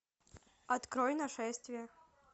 открой нашествие